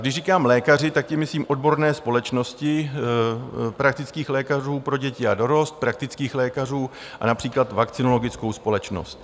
Když říkám lékaři, tak tím myslím odborné společnosti praktických lékařů pro děti a dorost, praktických lékařů a například vakcinologickou společnost.